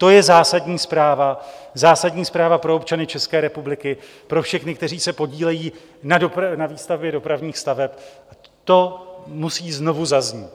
To je zásadní zpráva pro občany České republiky, pro všechny, kteří se podílejí na výstavbě dopravních staveb, to musí znovu zaznít.